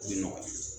O bɛ nɔgɔya